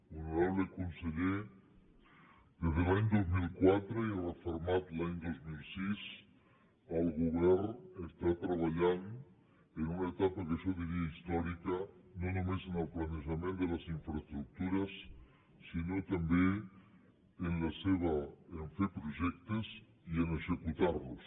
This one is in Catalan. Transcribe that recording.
honorable conseller des de l’any dos mil quatre i refermat l’any dos mil sis el govern treballa en una etapa que jo diria històrica no només en el planejament de les infraestructures sinó també a fer projectes i a executar los